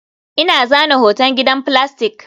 Ina zana hoton gidan filastik